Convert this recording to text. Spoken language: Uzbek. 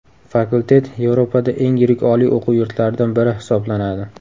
Fakultet Yevropada eng yirik oliy o‘quv yurtlaridan biri hisoblanadi.